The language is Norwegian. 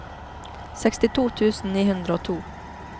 sekstito tusen ni hundre og to